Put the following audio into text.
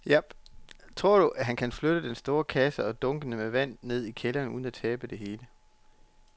Tror du, at han kan flytte den store kasse og dunkene med vand ned i kælderen uden at tabe det hele?